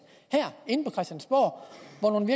hvor nogle